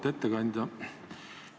Auväärt ettekandja!